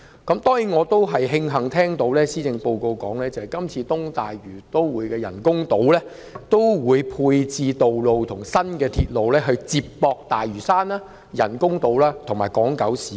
當然我也慶幸看到施政報告提及，今次東大嶼都會的人工島會配置道路和新鐵路，以接駁大嶼山、人工島和港島九龍市區。